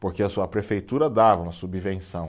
porque a sua prefeitura dava uma subvenção.